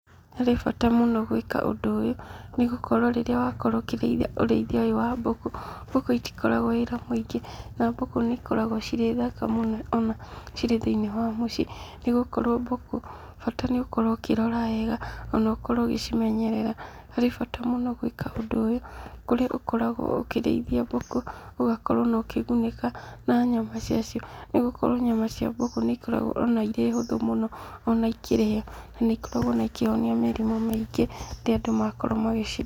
Harĩ bata mũno gwĩka ũndũ ũyũ, nĩgũkorwo rĩrĩa wakorwo ũkĩrĩithia ũrĩithia ũyũ wa mbũkũ, mbũkũ itikoragwo wĩra mũingĩ, na mbũkũ nĩ ikoragwo cirĩ thaka mũno ona cirĩ thĩinĩ wa mũciĩ, nĩgũkorwo mbũkũ bata nĩ ũkorwo ũkĩrora wega, ona ũkorwo ũgĩcimenyerera, harĩ bata mũno gwĩka ũndũ ũyũ, kũrĩa ũkoragwo ũkĩriithia mbũkũ, ũgakorwo ona ũkĩgunĩka na nyama cia cio, nĩgũkorwo nyama cia mbũkũ nĩ ikoragwo ona irĩ hũthũ mũno ona ikĩrĩo, nanĩ ikoragwo ona ikĩhonia mĩrimũ mĩingĩ rĩrĩa andũ makorwo magĩcirĩa.